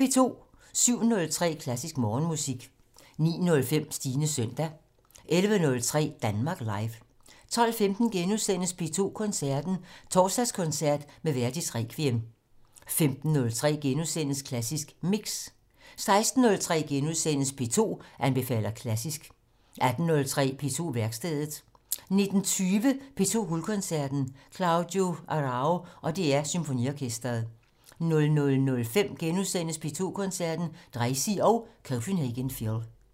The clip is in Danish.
07:03: Klassisk Morgenmusik 09:05: Stines søndag 11:03: Danmark Live 12:15: P2 Koncerten - Torsdagskoncert med Verdis Requiem * 15:03: Klassisk Mix * 16:03: P2 anbefaler klassisk * 18:03: På værkstedet 19:20: P2 Guldkoncerten - Claudio Arrau og DR Symfoniorkestret 00:05: P2 Koncerten - Dreisig og Copenhagen Phil *